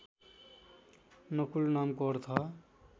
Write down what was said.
नकुल नामको अर्थ